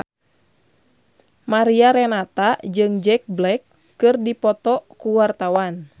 Mariana Renata jeung Jack Black keur dipoto ku wartawan